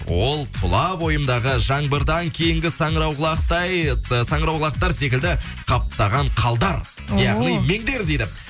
ол тұла бойымдағы жаңбырдан кейінгі саңырауқұлақтай саңырауқұлақтар секілді қаптаған қалдар ооо яғни мендер дейді